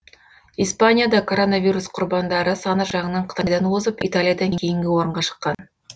испания да коронавирус құрбандары саны жағынан қытайдан озып италиядан кейінгі орынға шыққан